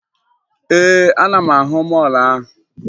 Ee, ana m ahụ mọọlụ ahụ